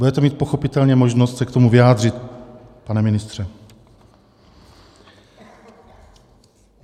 Budete mít pochopitelně možnost se k tomu vyjádřit, pane ministře.